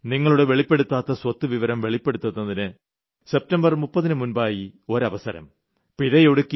നിങ്ങൾക്ക് നിങ്ങളുടെ വെളിപ്പെടുത്താത്ത സ്വത്ത് വിവരം വെളിപ്പെടുത്തുന്നതിന് സെപ്റ്റംബർ 30 ന് മുമ്പായി ഒരവസരം